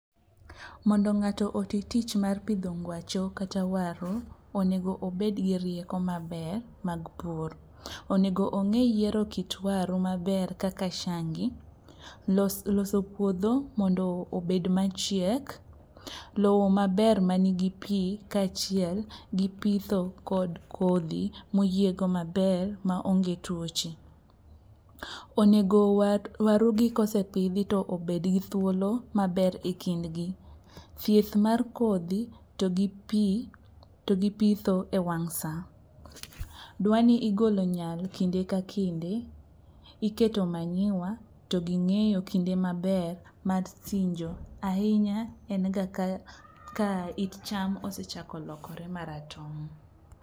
Mondo ng'ato oti tich mar pidho ngwacho kata waru onego obed gi rieko maber mag pur. Onego ong'e yiero kit waru maber kaka shangi, loso puodho mondo obed machiek, lowo maber manigi pi kaachiel gi pitho kod kodhi moyiego maber maonge tuoche. Onego warugi kosepidhi to obedgi thuolo maber e kindgi. Thieth mar kodgi to gi pitho e wang' sa. Dwa ni igolo nyal kinde ka kinde, iketo manyiwa to gi ng'eyo kinde maber mar sinjo, ahinya en ga ka it cham osechasko lokore maratong'.